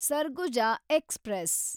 Surguja express